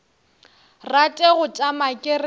rate go tšama ke re